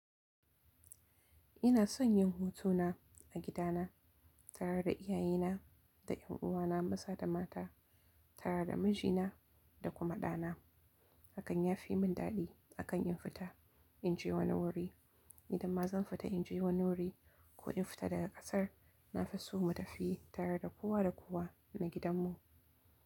Ina son yin hutu na a gida na tare da iyaye na da yan uwana maza da mata tare da mijina da kuma ɗa na. Hakan ya fi mun daɗi akan in fita in je wani wuri. Idan ma zan fita in je wani wuri ko in fita daga ƙasar, na fi so mu tafi tare da kowa da kowa na gidan mu.